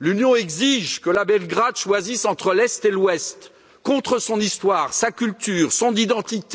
l'Union exige que Belgrade choisisse entre l'Est et l'Ouest, contre son histoire, sa culture, son identité.